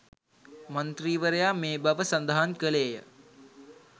මන්ත්‍රීවරයා මේ බව සඳහන් කළේය